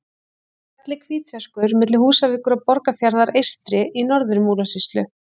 Fjallið Hvítserkur milli Húsavíkur og Borgarfjarðar eystri í Norður-Múlasýslu.